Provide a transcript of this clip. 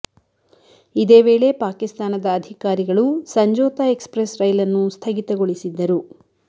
ಇದೇ ವೇಳೆ ಪಾಕಿಸ್ತಾನದ ಅಧಿಕಾರಿಗಳು ಸಂಜೋತಾ ಎಕ್ಸ್ ಪ್ರೆಸ್ ರೈಲನ್ನು ಸ್ಥಗಿತಗೊಳಿಸಿದ್ದರು